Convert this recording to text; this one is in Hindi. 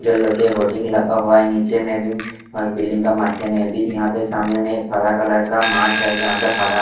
डेल कर के होल्डिंग लगा हुआ है नीचे में भी बिल्डिंग के माथे में भी यहाँ पर सामने में एक हरा कलर का माठ है जहाँ पे हरा --